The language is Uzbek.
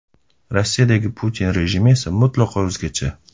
Rossiyadagi Putin rejimi esa mutlaqo o‘zgacha.